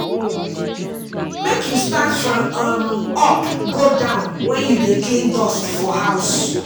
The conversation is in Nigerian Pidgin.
Make you start from um up go down when you dey clean dust for house.